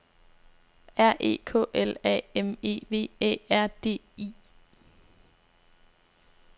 R E K L A M E V Æ R D I